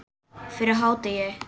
Fyrir hádegi.